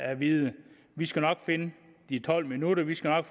at vide vi skal nok finde de tolv minutter vi skal nok